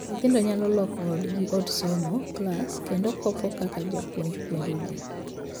Nyithindo nyalo loko odgi od somo (klas), kendo kop kaka japuonj puonjogi.